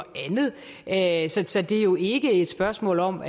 andet så det er jo ikke et spørgsmål om